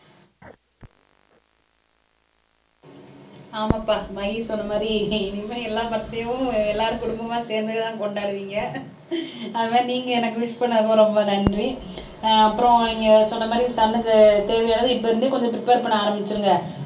ஆமாப்பா மதி சொன்ன மாதிரி இனிமே எல்லா பர்த்டேவும் எல்லாரும் குடும்பமா சேர்ந்துதான் கொண்டாடுவீங்க அது மாதிரி நீங்க எனக்கு விஷ் பண்ணதுக்கு ரொம்ப நன்றி அஹ் அப்புறம் இங்கே சொன்ன மாதிரி சன்க்கு தேவையானது இப்போ இருந்தே கொஞ்சம் பிரிப்பர் பண்ண ஆரம்பிச்சிருங்க